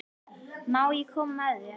Má ég koma með þér?